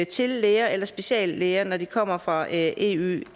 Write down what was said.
til læger eller speciallæger når de kommer fra eueøs